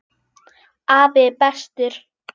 Afi er bestur.